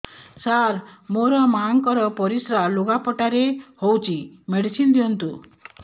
ସାର ମୋର ମାଆଙ୍କର ପରିସ୍ରା ଲୁଗାପଟା ରେ ହଉଚି ମେଡିସିନ ଦିଅନ୍ତୁ